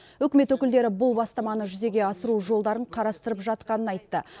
үкімет өкілдері бұл бастаманы жүзеге асыру жолдарын қарастырып жатқанын айтты